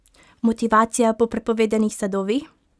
Motivacija po prepovedanih sadovih?